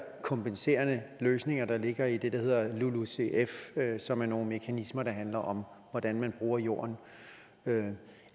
kompenserende løsninger der ligger i det der hedder lulucf som er nogle mekanismer der handler om hvordan man bruger jorden